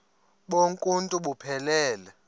bonk uuntu buphelele